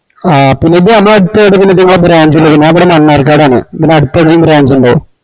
ആഹ് പിന്നെ ഇത് ഞമ്മളടത്തേടെങ്കിലും ഇങ്ങളാ branch ഇണ്ടോ ഞാൻ ഇവിട മണ്ണാർക്കാടാണ് ഇവിട അടത്തേടെങ്കിൽം branch ഇണ്ടോ